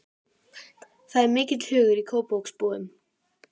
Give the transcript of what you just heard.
Það er mikill hugur í Kópavogsbúum.